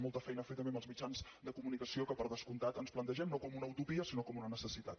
molta feina a fer també amb els mitjans de comunicació que per descomptat ens plantegem no com una utopia sinó com una necessitat